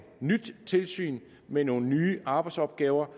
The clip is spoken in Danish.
nyt tilsyn med nogle nye arbejdsopgaver